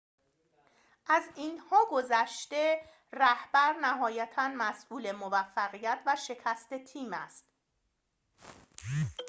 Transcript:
از اینها گذشته رهبر نهایتاً مسئول موفقیت و شکست تیم است